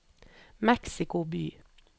Mexico by